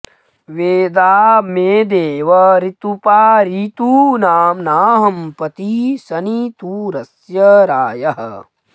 वेदा॑ मे दे॒व ऋ॑तु॒पा ऋ॑तू॒नां नाहं पतिं॑ सनि॒तुर॒स्य रा॒यः